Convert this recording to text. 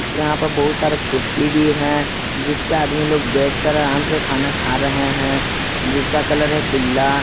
यहां पर बहुत सारे कुर्सी भी है जिस पर आदमी लोग बैठकर आराम से खाना खा रहे हैं जिसका कलर है पीला।